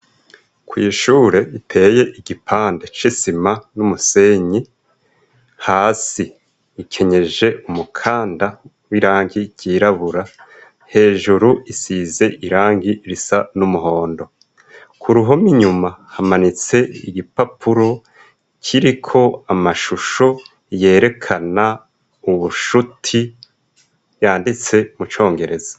Kw'ishure iteye igipande cisima n'umusenyi hasi ikenyeje umukanda w'irangi ryirabura hejuru isize irangi risa n'umuhondo ku ruhomi inyuma hamanitse igipapuro kiriko amashua musho yerekana ubushuti yanditse mucongereza.